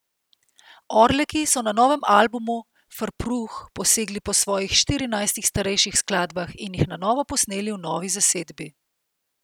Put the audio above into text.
Orleki so na novem albumu Frpruh posegli po svojih štirinajstih starejših skladbah in jih na novo posneli v novi zasedbi.